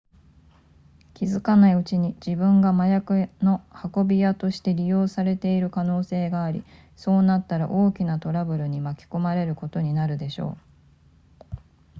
気付かないうちに自分が麻薬の運び屋として利用されている可能性がありそうなったら大きなトラブルに巻き込まれることになるでしょう